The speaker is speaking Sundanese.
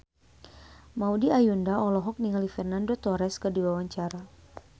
Maudy Ayunda olohok ningali Fernando Torres keur diwawancara